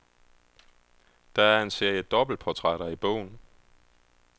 Der er en serie dobbeltportrætter i bogen.